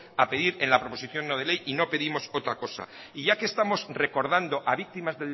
a pedir en la proposición no de ley y no pedimos otra cosa y ya que estamos recordando a víctimas